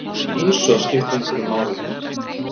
Eins og það skipti einhverju máli!